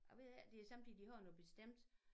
Jeg ved det ikke det er sommetider de har noget bestemt